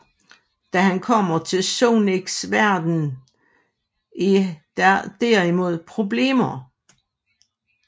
Da han kommer til Sonics verden er der derimod problemer